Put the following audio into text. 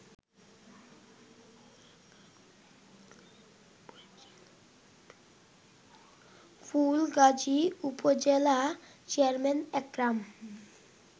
ফুলগাজী উপজেলা চেয়ারম্যান একরাম